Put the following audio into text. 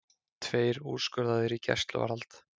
Tveir úrskurðaðir í gæsluvarðhald